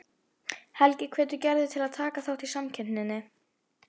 Helgi hvetur Gerði til að taka þátt í samkeppninni.